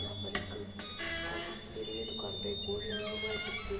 यहाँ पर एक दुकान दिखाई दे रही है दुकान पे एक बोर्ड लगा है जिस पे--